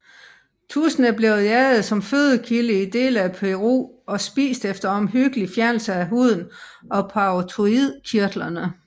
Tudsen er blevet jaget som fødekilde i dele af Peru og spist efter omhyggelig fjernelse af huden og parotoidkirtlerne